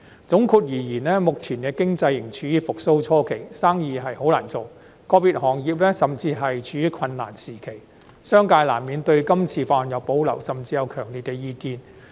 總括而言，目前經濟仍處復蘇初期，生意難做，個別行業甚至處於困難時期，商界難免對《條例草案》有保留，甚至有強烈意見。